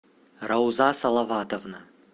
рауза салаватовна